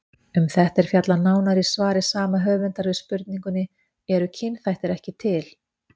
Um þetta er fjallað nánar í svari sama höfundar við spurningunni Eru kynþættir ekki til?